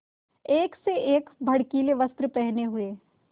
एक से एक भड़कीले वस्त्र पहने हुए